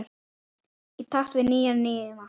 Í takt við nýja tíma.